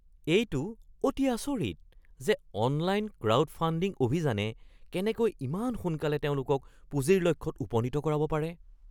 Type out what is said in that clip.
এইটো অতি আচৰিত যে অনলাইন ক্ৰাউডফাণ্ডিং অভিযানে কেনেকৈ ইমান সোনকালে তেওঁলোকক পুঁজিৰ লক্ষ্যত উপনীত কৰাব পাৰে।